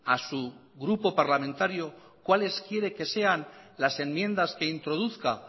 a su grupo parlamentario cuales quiere que sean las enmiendas que introduzca